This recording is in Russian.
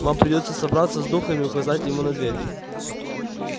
вам придётся собраться с духом и указать ему на дверь